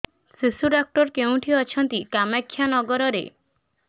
ଶିଶୁ ଡକ୍ଟର କୋଉଠି ଅଛନ୍ତି କାମାକ୍ଷାନଗରରେ